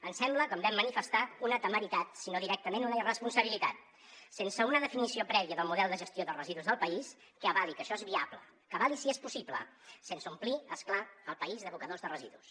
ens sembla com vam manifestar no una temeritat sinó directament una irresponsabilitat sense una definició prèvia del model de gestió de residus del país que avali que això és viable que avali si és possible sense omplir és clar el país d’abocadors de residus